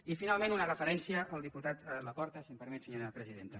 i finalment una referència al diputat laporta si em permet senyora presidenta